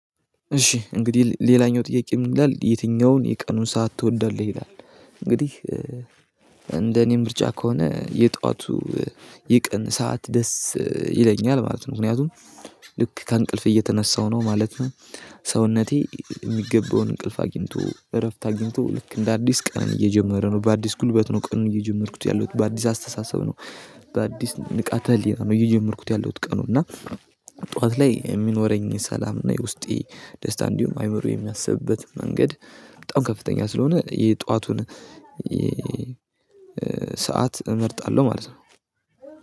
እሺ እንግዲህ ሌላኛው ጥያቄ ምን ይላል የትኛውን የቀኑን ሰዓት ትወዳለህ ይላል? እንግዲህ እንደኔ ምርጫ ከሆነ የጠዋቱ የቀን ሰዓት ደስ ይለኛል ማለት ነው ምክንያቱም ልክ ከእንቅልፍ እየተነሳሁ ነው ማለት ነው። ሰውነቴ የሚገባውን እንቅልፍ አግኝቶ እረፍት አግኝቶ ልክ እንደ አዲስ ቀኑን እየጀመረ ነው በአዲስ ጉልበት ነው ቀኑን እየጀመርኩት ያለሁት በአዲስ አስተሳሰብ ነው። በአዲስ ንቃተ ህሊና ነው እየጀመርኩት ያለሁት ቀኑን እና ጠዋት ላይ የሚኖረኝ ሰላም እና የውስጤ ደስታ እንዲሁም አይምሮ የሚያስብበት መንገድ በጣም ከፍተኛ ስለሆነ የጠዋቱን እመርጣለሁ ማለት ነው።